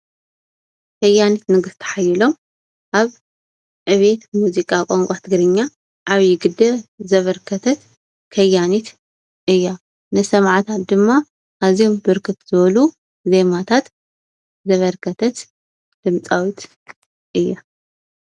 ከያኒት ንግስቲ ሓየሎም ኣብ ዕብየት ሙዚቃ ቋንቋ ትግርኛ ዓብዩ ግደ ዘበርከተት ከያኒት እያ ።ንሰማዕታ ድማ ኣዝዮም ብርክት ዝበሉ ዜማታት ዘበርከተት ድምፃዊት እያ።